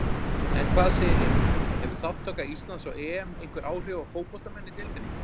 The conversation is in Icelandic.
En hvað segir Emil, hefur þátttaka Íslands á EM einhver áhrif á fótboltamenn í deildinni?